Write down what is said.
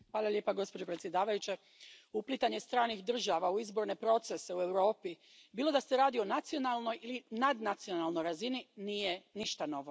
Poštovana predsjedavajuća, uplitanje stranih država u izborne procese u Europi, bilo da se radi o nacionalnoj ili nadnacionalnoj razini, nije ništa novo.